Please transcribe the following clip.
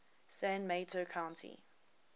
san mateo county